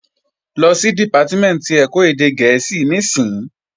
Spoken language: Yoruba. Lọ sí Dìpátímẹ̀ntì ẹ̀kọ́ èdè gẹ̀ẹ́sì níìsín!